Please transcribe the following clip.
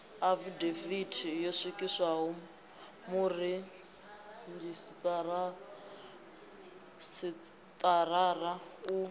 afidavithi yo swikiswaho muredzhisitarara u